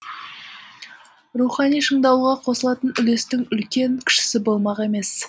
рухани шыңдалуға қосылатын үлестің үлкен кішісі болмақ емес